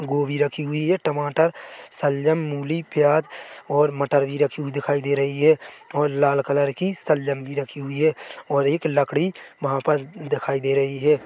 गोभी रखी हुई है टमाटर सलगम मूली प्याज और मटर भी रखी हुई दिखाई दे रही है और लाल कलर की सलगम भी रखी हुई है और एक लकड़ी वहाँ पर दिखाई दे रही है।